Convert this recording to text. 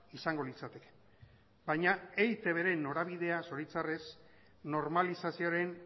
izango litzateke baina eitbren norabidea zoritxarrez normalizazioaren